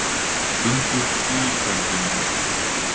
Fundur í kjaradeilunni